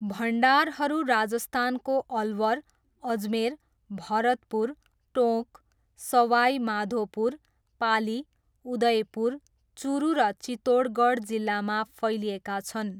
भण्डारहरू राजस्थानको अलवर, अजमेर, भरतपुर, टोँक, सवाई माधोपुर, पाली, उदयपुर, चुरू र चित्तोडगढ जिल्लामा फैलिएका छन्।